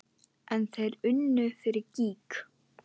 En þeir unnu fyrir gýg.